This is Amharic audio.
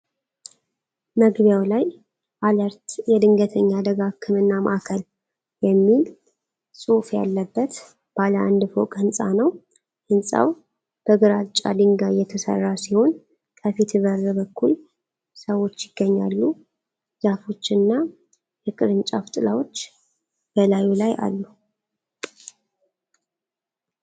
መግቢያው ላይ “አለርት የድንገተኛ አደጋ ሕክምና ማዕከል” የሚል ጽሑፍ ያለበት ባለ አንድ ፎቅ ሕንፃ ነው። ሕንፃው በግራጫ ድንጋይ የተሰራ ሲሆን ከፊት በር በኩል ሰዎች ይገኛሉ። ዛፎች እና የቅርንጫፍ ጥላዎች በላዩ ላይ አሉ።